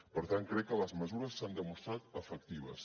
per tant crec que les mesures s’han demostrat efectives